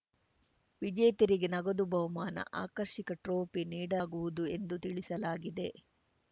ವಿಜೇತರಿಗೆ ನಗದು ಬಹುಮಾನ ಆಕರ್ಷಕ ಟ್ರೋಪಿ ನೀಡಗುವುದು ಎಂದು ತಿಳಿಸಲಾಗಿದೆ